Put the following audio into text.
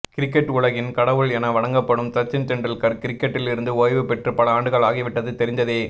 cricket உலகின் கடவுள் என வணங்கப்படும் சச்சின் டெண்டுல்கர் கிரிக்கெட்டில் இருந்து ஓய்வு பெற்று பல ஆண்டுகள் ஆகிவிட்டது தெரிந்ததே